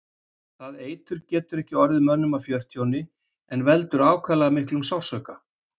Það eitur getur ekki orðið mönnum að fjörtjóni en veldur ákaflega miklum sársauka.